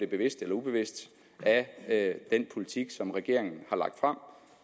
bevidst eller ubevidst af den politik som regeringen har lagt frem